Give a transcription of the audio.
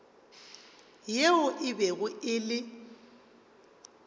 yeo e bego e le